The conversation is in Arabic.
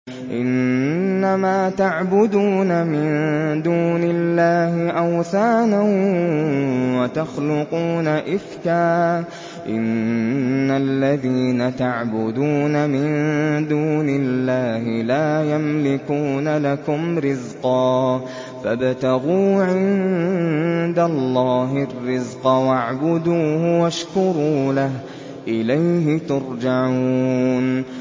إِنَّمَا تَعْبُدُونَ مِن دُونِ اللَّهِ أَوْثَانًا وَتَخْلُقُونَ إِفْكًا ۚ إِنَّ الَّذِينَ تَعْبُدُونَ مِن دُونِ اللَّهِ لَا يَمْلِكُونَ لَكُمْ رِزْقًا فَابْتَغُوا عِندَ اللَّهِ الرِّزْقَ وَاعْبُدُوهُ وَاشْكُرُوا لَهُ ۖ إِلَيْهِ تُرْجَعُونَ